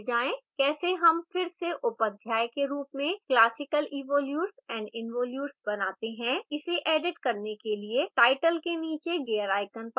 कैसे how फिर से उप अध्याय के रूप में classical evolutes and involutes बनाते हैं